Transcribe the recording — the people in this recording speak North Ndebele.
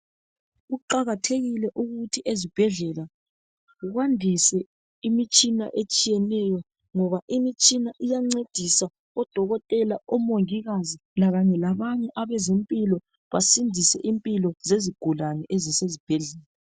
Kuqakathekile ukuthi ezibhedlela kwandise imitshina etshiyeneyo ngoba imitshina iysncedisa odokotela omongikazi lakanye labanye abezempilo basindise impilo zezigulane ezisezibhedlela.